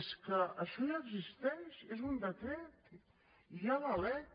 és que això ja existeix és un decret i hi ha la lec